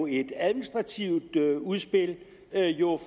et administrativt udspil